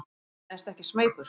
En ertu ekki smeykur?